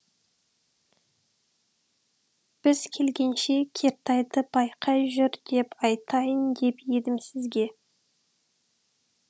біз келгенше кертайды байқай жүр деп айтайын деп едім сізге